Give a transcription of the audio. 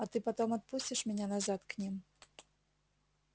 а ты потом отпустишь меня назад к ним